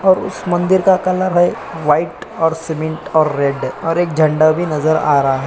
और उस मंदिर का कलर है वाइट और सीमेंट रेड और एक झंडा भी नज़र आ रहा है।